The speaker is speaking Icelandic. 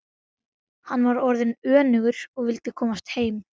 Hann var orðinn önugur og vildi komast heim.